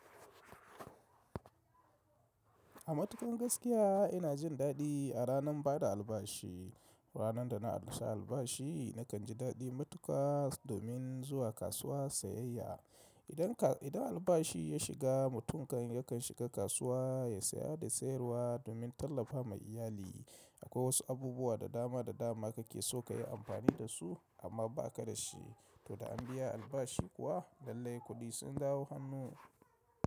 A matuƙan gaskiya, ina jin daɗi, a ranan bada albashi. Ranar da na rusa albashi, nakan ji daɗi matuƙa, domin zuwa kasuwa sayayya. Idan, idan albashi ya shiga, mutum kan yakan shiga kasuwa, ya saya da sayarwa, domin tallafa ma iyali. Akwai wasu abubuwa da dama da dama kake so kayi amfani da su, amma ba ka da shi. To da an biya albashi kuwa lallai kuɗi sun dawo hannu.